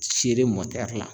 Sere mɔtɛri la